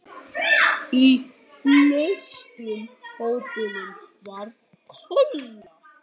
Í flestum hópunum var Kolla.